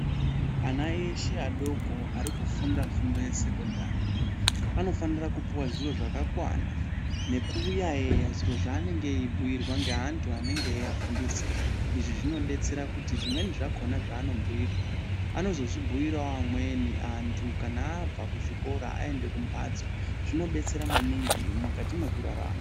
Ana eshe adoko ari kufunda fundo yesekondari anofanira kupuva zivo zvakakwana. Nekuyaiya zviro zvaanenge achibhuirwa ngeantu anenge eiafundisa. Izvi zvinobetsera kuti zvimweni zvako anobhuirwa anozozvibhuiravo amweni antu kana abva kuzvikora aende kumhatso, zvinobetsera maningi mukati mekurarama.